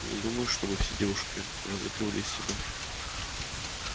не думаю чтобы все девушки разыгрывали из себя